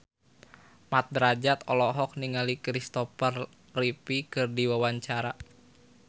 Mat Drajat olohok ningali Christopher Reeve keur diwawancara